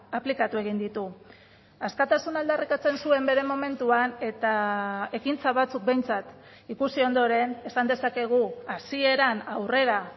aplikatu egin ditu askatasuna aldarrikatzen zuen bere momentuan eta ekintza batzuk behintzat ikusi ondoren esan dezakegu hasieran aurrera